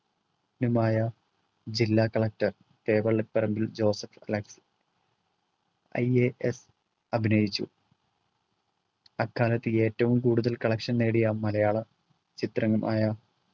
ന്യുമായ ജില്ലാ collector തേവള്ളിപറമ്പിൽ Joseph Alex ias അഭിനയിച്ചു അക്കാലത്തു ഏറ്റവും കൂടുതൽ collection നേടിയ മലയാള ചിത്രമായ